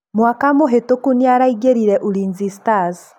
Mwaka mũhĩtuku nĩ araingĩrire Ulinzi Stars.